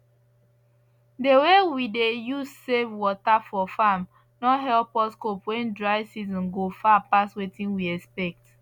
the way we dey use save water for farm don help us cope when dry season go far pass wetin we expect